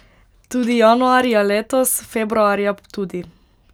Tudi januarja letos, februarja tudi.